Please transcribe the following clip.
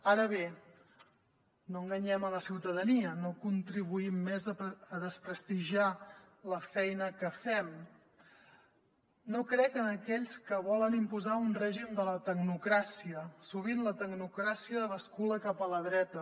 ara bé no enganyem la ciutadania no contribuïm més a desprestigiar la feina que fem no crec en aquells que volen imposar un règim de la tecnocràcia sovint la tecnocràcia bascula cap a la dreta